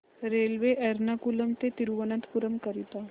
railway Ernakulam ते थिरुवनंतपुरम करीता